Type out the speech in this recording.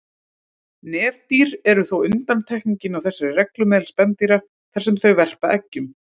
Nefdýr eru þó undantekningin á þessari reglu meðal spendýra þar sem þau verpa eggjum.